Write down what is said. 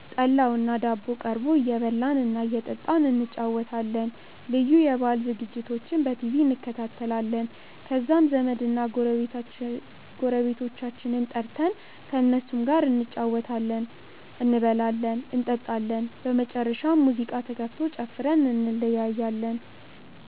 ጠላውና ዳቦው ቀርቦ እየበላን እና እየጠጣን እንጨዋወታለን። ልዩ የበአል ዝግጅቶችንም በቲቪ እንከታተላለን። ከዛም ዘመድና ጎረቤቶቻችንን ጠርተን ከእነሱም ጋር እንጨዋወታለን፤ እንበላለን እንጠጣለን። በመጨረሻም ሙዚቃ ተከፍቶ ጨፍረን እንለያያለን።